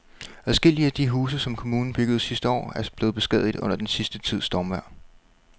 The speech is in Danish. Adskillige af de huse, som kommunen byggede sidste år, er blevet beskadiget under den sidste tids stormvejr.